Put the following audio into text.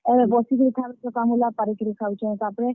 ଏଭେ ବସିକରି ଖାଉ ଚକାମୁଲା ପାରିକରି ଖାଉଛେ, ତାପ୍ ରେ।